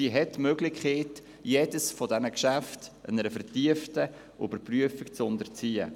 Sie hat zudem die Möglichkeit, jedes dieser Geschäfte einer vertieften Überprüfung zu unterziehen.